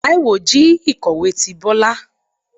Taíwo jí ikọwe tí Bọla